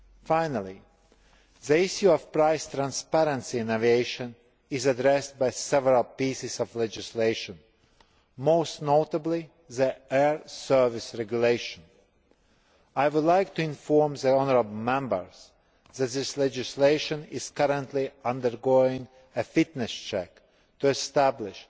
Finally, the issue of price transparency in aviation is addressed in several pieces of legislation, most notably the Air Services Regulation. I would like to inform the honourable Members that this legislation is currently undergoing a fitness check to establish